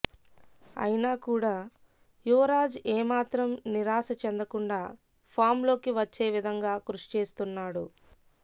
అయినా కూడా యువరాజ్ ఏ మాత్రం నిరాశ చెందకుండా ఫామ్ లోకి వచ్చే విధంగా కృషి చేస్తున్నాడు